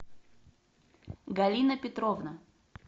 галина петровна